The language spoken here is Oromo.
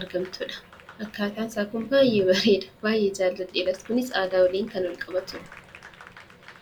argamtudha. Akkaataan isaa kun baay'ee bareeda baay'ee jaalladheeras. Kunis Aadaa waliin kan wal qabatudha.